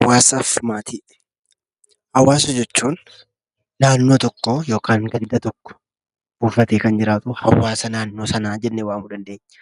Hawaasaa fi maatii Hawaasa jechuun naannoo tokko yookaan ganda tokko buufatee kan jiraatu hawaasa naannoo sanaa jennee waamuu dandeenya.